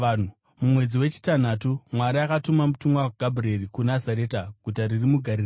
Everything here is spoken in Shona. Mumwedzi wechitanhatu, Mwari akatuma mutumwa Gabhurieri kuNazareta, guta riri muGarirea,